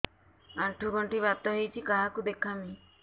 ଆଣ୍ଠୁ ଗଣ୍ଠି ବାତ ହେଇଚି କାହାକୁ ଦେଖାମି